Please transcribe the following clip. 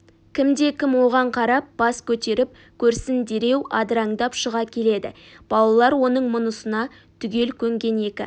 кімде-кім оған қарап бас көтеріп көрсін дереу адыраңдап шыға келеді балалар оның мұнысына түгел көнген екі